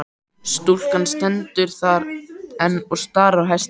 Stúlkan stendur þar enn og starir á hestinn.